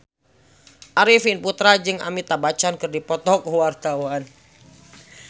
Arifin Putra jeung Amitabh Bachchan keur dipoto ku wartawan